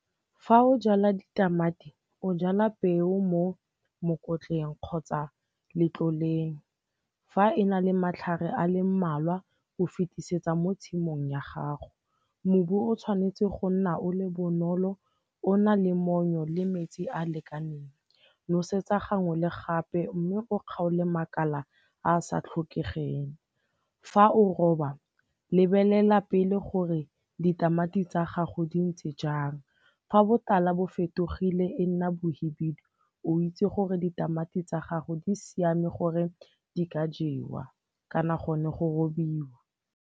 Fa o jala ditamati, o jala peo mo mokotleng kgotsa letloleng. Fa e na le matlhare a le mmalwa o fetisetsa mo tshimong ya gago. Mobu o tshwanetse go nna o le bonolo o na le monnyo le metsi a a lekaneng. Nosetsa gangwe le gape mme o kgaole makala a sa tlhokegeng. Fa o roba, lebelela pele gore ditamati tsa gago di ntse jang. Fa botala bo fetogile e nna bohubedu, o itse gore ditamati tsa gago di siame gore di ka jewa kana gone go robiwa.